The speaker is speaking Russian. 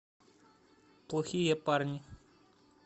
плохие парни